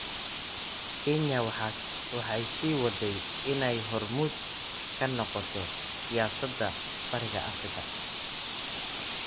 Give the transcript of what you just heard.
Kenya waxay sii waday inay hormuud ka noqoto siyaasadda Bariga Afrika.